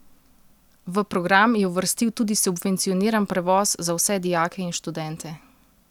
V program je uvrstil tudi subvencioniran prevoz za vse dijake in študente.